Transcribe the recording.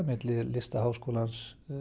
milli Listaháskólans